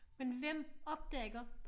Men hvem opdager